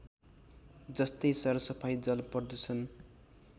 जस्तै सरसफाइ जलप्रदूषण